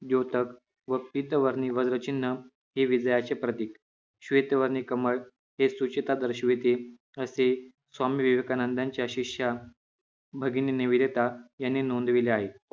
द्योतक व पीत वर्णी वज्र चिन्ह हे विजयाचे प्रतीक श्वेत वर्णी कमळ हे सूचिता दर्शविते असे स्वामी विवेकानंदांच्या शिष्या भगिनी निवेदिता यांनी नोंदविले आहे